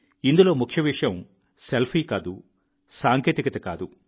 ఇందులో ముఖ్య విషయం సెల్ఫీ కాదు సాంకేతికత కాదు